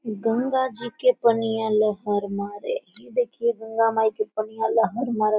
गंगा जी के पनिया लहर मारे ये देखिये गंगा माई के पनिया लहर मरत--